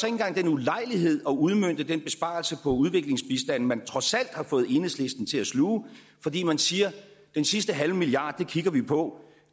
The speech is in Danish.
engang den ulejlighed at udmønte den besparelse på udviklingsbistanden man trods alt har fået enhedslisten til at sluge fordi man siger at den sidste halve milliard kigger vi på